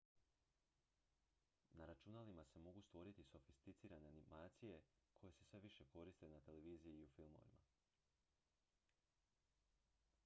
na računalima se mogu stvoriti sofisticirane animacije koje se sve više koriste na televiziji i u filmovima